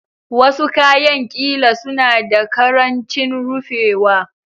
Wasu kayan ƙila suna da ƙarancin rufewa